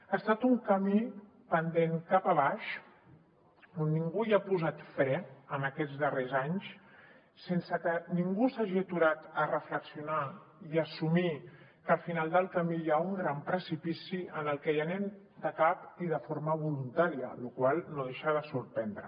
ha estat un camí pendent cap a avall on ningú ha posat fre en aquests darrers anys sense que ningú s’hagi aturat a reflexionar i assumir que al final del camí hi ha un gran precipici al que hi anem de cap i de forma voluntària la qual cosa no deixa de sorprendre